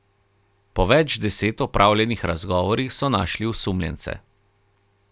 Po več deset opravljenih razgovorih so našli osumljence.